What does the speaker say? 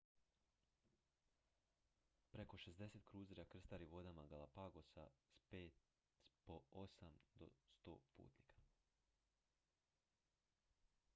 preko 60 kruzera krstari vodama galapagosa s po 8 do 100 putnika